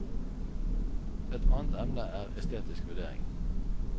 Et annet emne er estetisk vurdering.